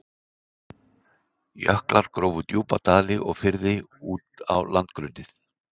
Jöklar grófu djúpa dali og firði út á landgrunnið.